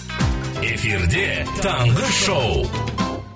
эфирде таңғы шоу